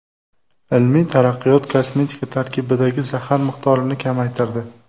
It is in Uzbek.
Ilmiy taraqqiyot kosmetika tarkibidagi zahar miqdorini kamaytirdi.